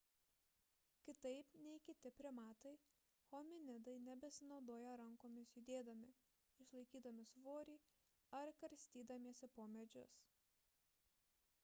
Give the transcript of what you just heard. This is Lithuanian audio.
kitaip nei kiti primatai hominidai nebesinaudoja rankomis judėdami išlaikydami svorį ar karstydamiesi po medžius